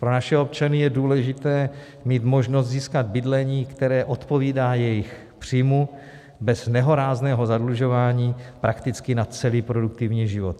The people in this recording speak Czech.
Pro naše občany je důležité mít možnost získat bydlení, které odpovídá jejich příjmu, bez nehorázného zadlužování prakticky na celý produktivní život.